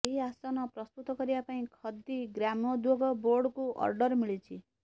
ଏହି ଆସନ ପ୍ରସ୍ତୁତ କରିବା ପାଇଁ ଖଦି ଗ୍ରାମୋଦ୍ୟୋଗ ବୋର୍ଡକୁ ଅର୍ଡର ମିଳିଛି